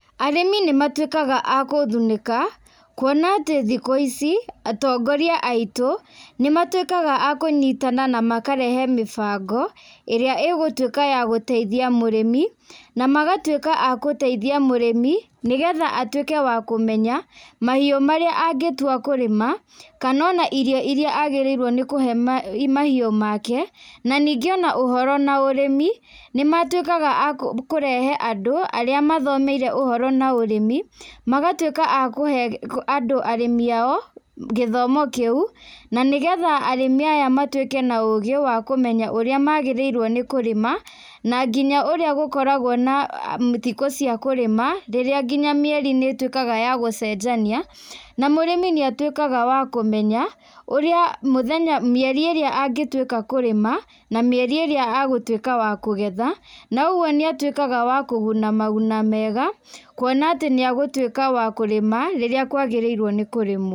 Arĩmi nĩ matuĩkaga a kũthunĩka kuona atĩ thikũ ici atongoria aitũ nĩ matuĩkaga a kũnyitana na makarehe mĩbango, ĩrĩa ĩgũtuĩka ya gũteithia mũrĩmi na magatuĩka a guteithia mũrĩmi, nĩgetha atuĩke wa kũmenya mahiũ marĩa angĩtua kũrĩma kana ona irio irĩa agĩrĩirwo nĩ kũhe mahiũ make. Na ningĩ ona ũhoro na ũrĩmi nĩ matuĩkaga a kũrehe andũ arĩa mathomeire ũhoro na ũrĩmi, magatuĩka a kũhe andũ arĩmi ao gĩthomo kĩu na nĩgetha arĩmi aya matuĩke na ũgĩ wa kũmenya ũrĩa magĩrĩirwo nĩ kũrĩma, na nginya ũrĩa gũkoragwo na thikũ cia kũrĩma rĩrĩa nginya mĩeri nĩ ĩtuĩkaga ya gũcenjania. Na mũrĩmi nĩ atuĩkaga wa kũmenya ũrĩa mũthenya mĩeri ĩria angĩtuĩka kũrima na mĩeri ĩria agũtuĩka wa kũgetha. Na ũguo nĩ atuĩkaga wa kũguna maguna mega kuona atĩ nĩ egũtuĩka wa kũrĩma rĩrĩa agĩrĩirũo nĩ kũrĩmũo.